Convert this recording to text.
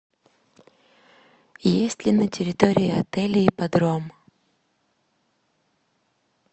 есть ли на территории отеля ипподром